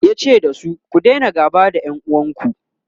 yace dasu " ku Daina gaba da ƴan uwanku!"